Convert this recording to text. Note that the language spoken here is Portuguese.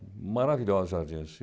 Maravilhosos jardins.